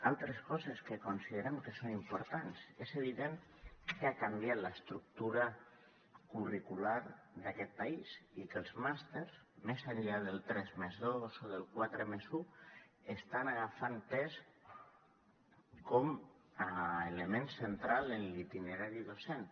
altres coses que considerem que són importants és evident que ha canviat l’estructura curricular d’aquest país i que els màsters més enllà del tres més dos o del quatre més u estan agafant pes com a element central en l’itinerari docent